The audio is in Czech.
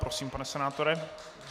Prosím, pane senátore.